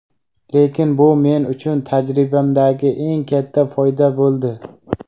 Lekin bu men uchun tajribamdagi eng katta foyda bo‘ldi.